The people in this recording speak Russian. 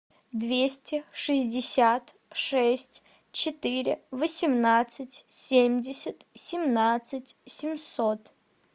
двести шестьдесят шесть четыре восемнадцать семьдесят семнадцать семьсот